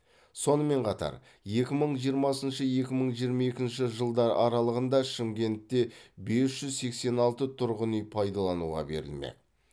сонымен қатар екі мың жиырмасыншы екі мың жиырма екінші жылдар аралығында шымкентте бес жүз сексен алты тұрғын үй пайдалануға берілмек